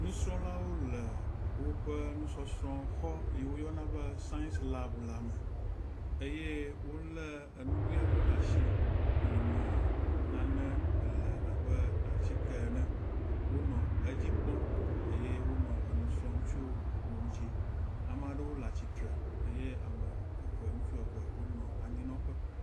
Nusrɔ̃lawo le woãe nusɔsrɔ̃ xɔ si woyɔna be sais lab la me eye wolé enugoe aɖewo ɖe asi yi me nane le abe atike ene. Wonɔ edzi kpɔm eye wonɔ enu srɔ̃m tso eŋuti.